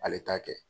Ale t'a kɛ